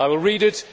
I will read it